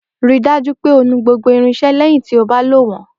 Rí i dájú pé o nu gbogbo irinṣẹ́ lẹ́yìn tí o bá lò wọ́n.